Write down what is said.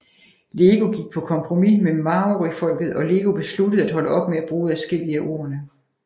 LEGO gik på kompromis med maorifolket og LEGO besluttede at holde op med at bruge adskillige af ordene